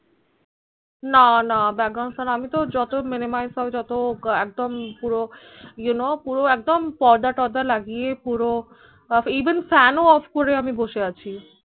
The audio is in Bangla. না না background sound আমি তো যত minimize যত একদম পুরো you know পুরো পর্দা তরদা লাগিয়ে পুরো even fan ও off করে আমি বসে আছি